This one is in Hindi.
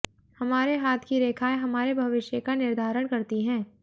हमारे हाथ की रेखाएं हमारे भविष्य का निर्धारण करती है